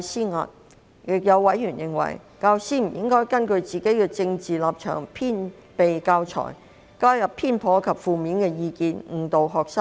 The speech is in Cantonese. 此外，亦有委員認為，教師不應根據自己的政治立場製備教材，加入偏頗及負面的意見，誤導學生。